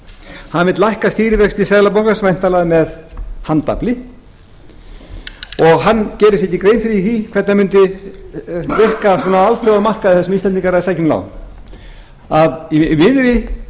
hann vill lækka stýrivexti seðlabankans væntanlega með handafli og hann gerir sér ekki grein fyrir því hvernig það mundi ákveðið á markaði þar sem íslendingar eru að sækja um lán í miðri